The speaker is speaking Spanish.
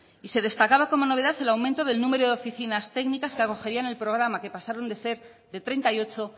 y se destacaba como novedad el aumento del número de oficinas técnicas que acogerían el programa que pasaron de ser de treinta y ocho